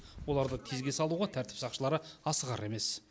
оларды тезге салуға тәртіп сақшылары асығар емес